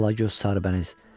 Alagöz, sarıbəniz.